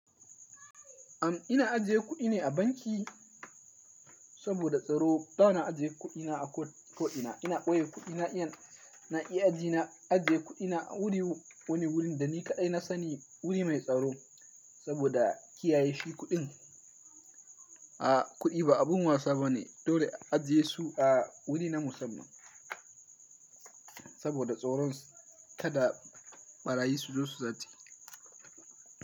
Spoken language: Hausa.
Am ina ajiye kuɗi ne a banki saboda tsaro. Ba na ajiye kuɗi na a ko'ina. Ina ɓoye kuɗi na, iyan na iya ajina, ajiye kuɗi na wuri wani wurin da ni kaɗai na sani, wuri mai tsaro saboda kiyaye shi kuɗin. A, kuɗi ba abun wasa ba ne, dole a ajiyesu a wuri na musamman saboda tsoron kada ɓarayi su zo su zace.